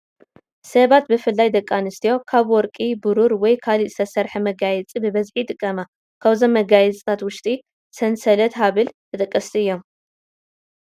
ሰባት ብፍላይ ደቂ ኣንስትዮ ካብ ወርቂ፣ ብሩር ወይ ካልእ ዝተሰርሓ መጋየፂ ብብዝሒ ይጥቀማ፡፡ ካብዞም መጋየፅታት ውሽጢ ሰንሰልን ሃብልን ተጠቀስቲ እዮም፡፡